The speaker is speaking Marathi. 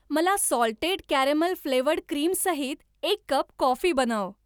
मला सॉल्टेड कॅरॅमेल फ्लेवरड क्रीम सहित एक कप कॉफी बनव